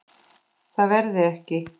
Það verði ekki.